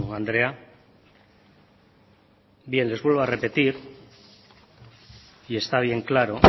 andrea bien les vuelvo a repetir y está bien claro